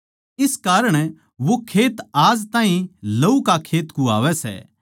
इस कारण वो खेत आज ताहीं लहू का खेत कुह्वावै सै